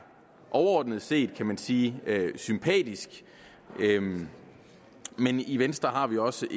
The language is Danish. overordnet set kan man sige sympatisk men i venstre har vi også